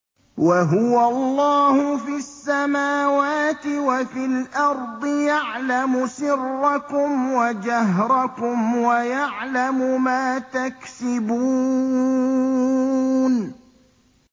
وَهُوَ اللَّهُ فِي السَّمَاوَاتِ وَفِي الْأَرْضِ ۖ يَعْلَمُ سِرَّكُمْ وَجَهْرَكُمْ وَيَعْلَمُ مَا تَكْسِبُونَ